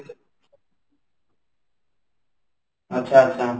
ଆଚ୍ଛା, ଆଚ୍ଛା